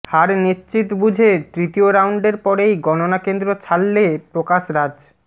হার নিশ্চিত বুঝে তৃতীয় রাউন্ডেরর পরেই গণনা কেন্দ্র ছাড়লে প্রকাশরাজ